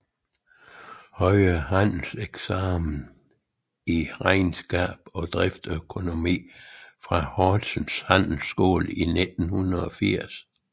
Højere Handelseksamen i regnskab og driftsøkonomi fra Horsens Handelsskole i 1980